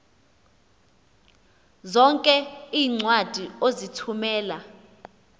zonke iincwadi ozithumela